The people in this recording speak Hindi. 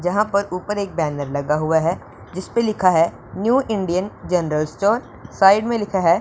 जहां पर ऊपर एक बैनर लगा हुआ है जिसपे लिखा है new Indian general store side में लिखा है।